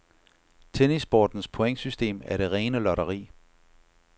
Tennissportens pointsystem er det rene lotteri.